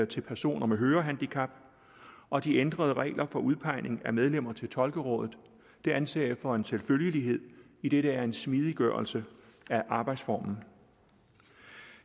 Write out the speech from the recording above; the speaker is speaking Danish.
til personer med hørehandicap og de ændrede regler for udpegning af medlemmer til tolkerådet anser jeg for en selvfølgelighed idet det er en smidiggørelse af arbejdsformen